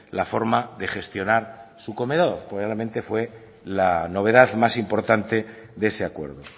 la forma de gestionar su comedor probablemente fue la novedad más importante de ese acuerdo